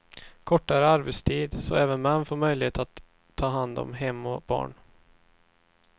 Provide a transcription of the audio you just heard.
Kortare arbetstid, så även män får möjlighet att ta hand om hem och barn.